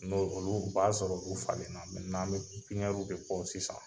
N'o olu o b'a sɔrɔ olu falen na, mɛnan an bɛ pipinɛru de bɔ sisan.